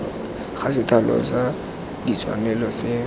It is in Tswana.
ga sethalo sa ditshwanelo se